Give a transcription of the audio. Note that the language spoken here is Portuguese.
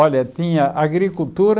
Olha, tinha agricultura...